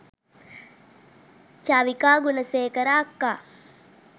චවිකා ගුණසේකර අක්කා